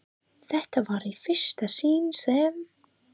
Þetta var í fyrsta sinn sem